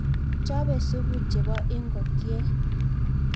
Chope supu chebo ikokyet